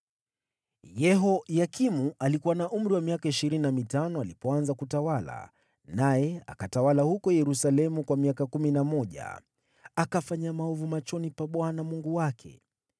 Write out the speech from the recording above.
Yehoyakimu alikuwa na umri wa miaka ishirini na mitano alipoanza kutawala, naye akatawala huko Yerusalemu miaka kumi na mmoja. Akafanya maovu machoni pa Bwana Mungu wake.